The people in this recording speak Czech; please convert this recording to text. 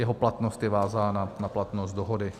Jeho platnost je vázána na platnost dohody.